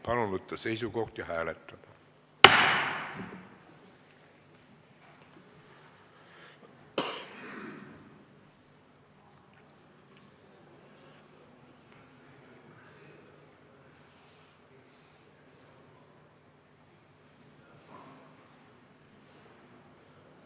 Palun võtta seisukoht ja hääletada!